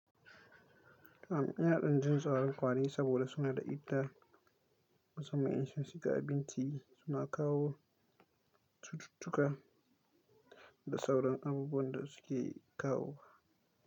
Kamin yara din jin sauran kwari saboda suna da idda ga samanin insun shiga abinci suna kawo cututtuka da sauran abubuwan da suke kawo.